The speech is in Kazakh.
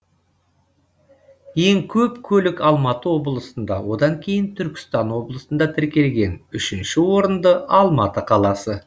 ең көп көлік алматы облысында одан кейін түркістан облысында тіркелген үшінші орында алматы қаласы